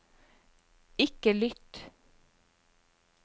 ikke lytt